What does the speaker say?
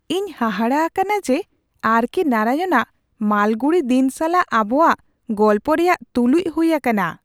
ᱤᱧ ᱦᱟᱦᱟᱲᱟᱜ ᱟᱠᱟᱱᱟ ᱡᱮ ᱟᱨ ᱠᱮ ᱱᱟᱨᱟᱭᱚᱱ ᱟᱜ ᱢᱟᱞᱜᱩᱲᱤ ᱫᱤᱱ ᱥᱟᱞᱟᱜ ᱟᱵᱚᱣᱟᱜ ᱜᱚᱞᱯᱚ ᱨᱮᱭᱟᱜ ᱛᱩᱞᱩᱡ ᱦᱩᱭ ᱟᱠᱟᱱᱟ !